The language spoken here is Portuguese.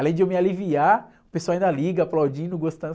Além de eu me aliviar, o pessoal ainda liga, aplaudindo, gostando.